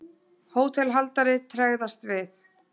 Hótelhaldari tregðast við.